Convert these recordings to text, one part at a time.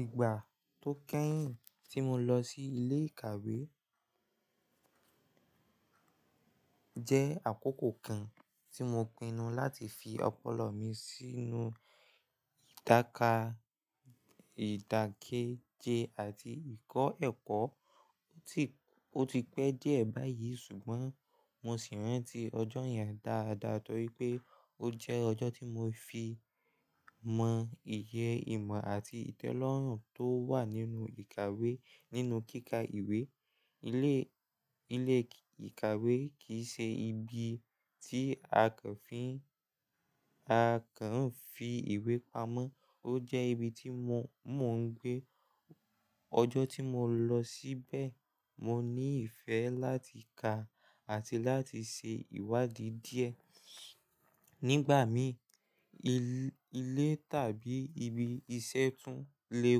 Ìgbà tó kẹ́yìn tí mo lọ sí ilé ìkàwé jẹ́ àkókò kan tí mo pinnu láti fi ọpọlọ mi sínú ìdákà, ìdàkéje àti ìkọ́ ẹ̀kọ́. Ó ti pẹ́ díẹ̀ báyìí ṣùgbọ́n mo sì ń rántí ọjọ́ yẹn dáadáa torí pé ó jẹ́ ọjọ́ tí mo fi mọ iye ìmọ̀ àti ìtẹ́lọ́rùn tó wà nínú ìkàwé nínú kíkà ìwé. Ilé ìkàwé kì í ṣe ibi tí a kàn fi ìwé pamọ́, ó jẹ́ ibi tí mò ń gbé. Ọjọ́ tí mo lọ síbẹ̀, mo ní ìfẹ́ láti kà àti láti ṣe ìwádìí díẹ̀. Nígbà mí ilé tàbí ibi iṣẹ́ tún lè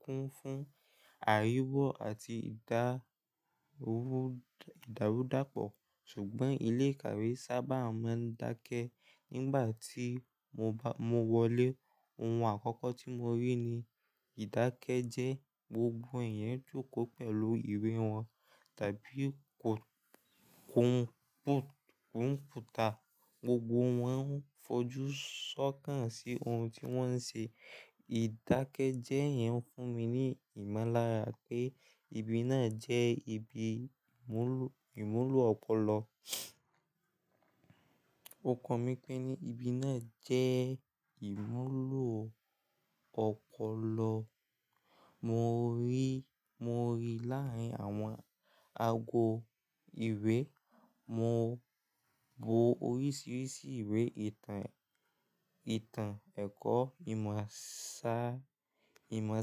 kún fún àríwó àti ìdàrúdàpọ̀ ṣùgbọ́n ilé ìkàwé sábà máa ń dákẹ́. Nígbà tí mo wọlé, ohun àkọ́kọ́ tí mo rí ni ìdákẹ́ jẹ́ gbogbo èèyàn jókòó pẹ̀lú ìwé wọn tàbí kọ̀mpútà. Gbogbo wọn ń fojú ṣọ́kàn sí ohun tí wọ́n ṣe. Ìdákẹ́jẹ́ yẹn ń fún mi ní ìmọ̀lára pé ibi náà jẹ́ ibi ìmúlò ọpọlọ. Okàn mi pé ní ibi náà jẹ́ ìmúlò ọpọlọ. Mo rí láàárín àwọn ago ìwé, mo wo oríṣiríṣi ìwé ìtàn, ẹ̀kọ́ ìmọ̀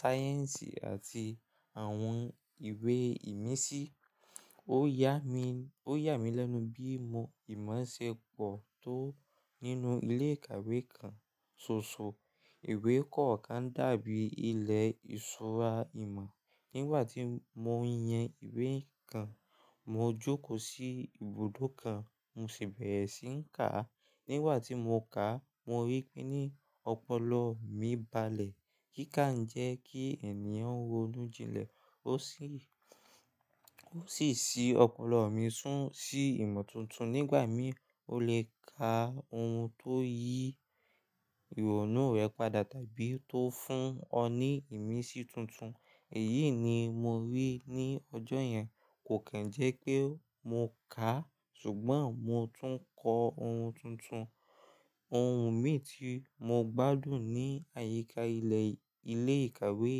sáyẹ́ǹsì àti àwọn ìwé ìmísí. Ó yà mí lẹ́nu bí mo ìmọ̀ ṣe pọ̀ tó nínú ilé ìkàwé kan ṣoṣo. Ìwé kọ̀ọ̀kan dàbí ilẹ̀ ìṣúra ìmọ̀. Nígbà tí mo ń yẹ ìwé kan, mo jókòó sí ibùdó kan, mo sì bẹ̀rẹ̀ sí ní kà á. Nígbà tí mo kàá, mo rí pé ní ọpọlọ mi balẹ̀. Kíkà ń jẹ́ kí ènìyàn ronú jinlẹ̀ ó sì ṣi ọpọlọ mi sun sí ìmọ̀ tuntun. Nígbà mí, o lè ka ohun tó yí ìrònú rẹ padà tàbí tó fún ọ ní ìmísí tuntun. Èyí ni mo rí ní ọjọ́ yẹn. Kò kì ń jẹ́ pé mo kàá ṣùgbọ́n mo tún ń kọ ohun tuntun. Ohun míi, tí mo gbádùn ni àyíká ilé-ìkàwé,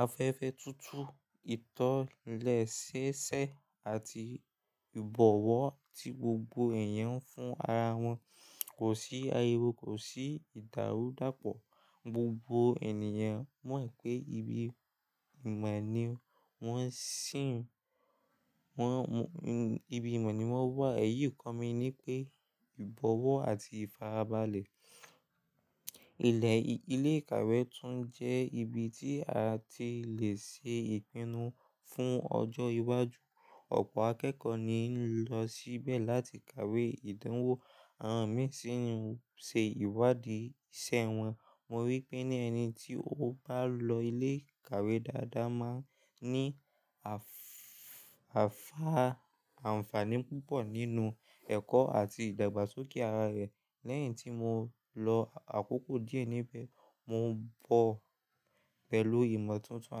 afẹ́fẹ́ tútù, ìtànlẹ́sẹ́ṣẹ́, àti ìbọ̀wọ̀ tí gbogbo eèyàn fún ara wọn. Kò sí ariwo, kò sí ìdàrúdàpọ̀. Gbogbo ènìyàn mọ̀ pé ibi ìmọ̀ ni wọ́n wà. Ẹ̀yì ko mi ni pé ìbọ̀wọ̀ àti ìfarabalẹ̀ ilé ìkàwé tún jẹ́ ibi tí a ti lè ṣe ìpinnu fún ọjọ́ iwájú. Ọ̀pọ̀ akẹ́kọ̀ọ́ ni ń lọ síbẹ̀ láti kàwé ìdánwò, àwọn mìí sì ń ṣe ìwádìí iṣẹ́ wọn. Mo rí pé ní ẹni tí ó bá lọ ilé ìkàwé dáadáa máa ní àǹfààní púpọ̀ nínú ẹ̀kọ́ àti ìdàgbàsókè ara rẹ̀. Lẹ́yìn tí mo lọ àkókò díẹ̀ níbẹ̀, mo bọ̀ pẹ̀lú ìmọ̀ tuntun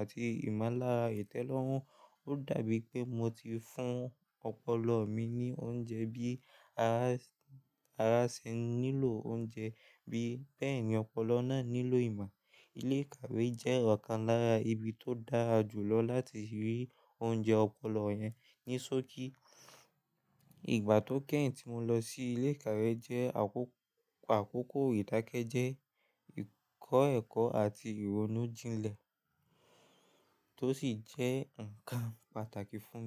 àti ìmọ̀lára ìtẹ́lọ́rùn. Ó dàbí pé mo ti fún ọpọlọ mi ní oúnjẹ bí ara ṣe ń nílò oúnjẹ bí bẹ́ẹ̀ ni ọpọlọ náà nílò ìmọ̀. Ilé ìkàwé jẹ́ ọ̀kan lára ibi tó dára jù lọ láti rí oúnjẹ ọpọlọ yẹn ní ṣókí. Ìgbà tó kẹ́yìn tí mo lọ sí ilé ìkàwé jẹ́ àkókò ìdákẹ́jẹ́, ìkọ́ ẹ̀kọ́ àti ìrònú jinlẹ̀ tó ṣì jẹ́ ǹkan pàtàkì fún mi.